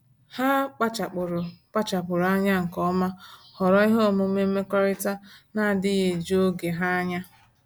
Ha kpachapụrụ kpachapụrụ anya nke ọma họrọ ihe omume mmekọrịta na-adịghị eju oge ha anya.